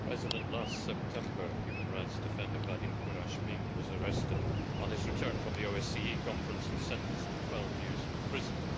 Mr President, last September, human rights defender Vadim Kuramshin was arrested on his return from the OSCE Conference and sentenced to 12 years in prison.